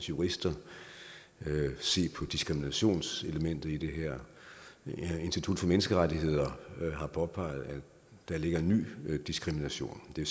jurister se på diskriminationselementet i det her institut for menneskerettigheder har påpeget at der ligger en ny diskrimination det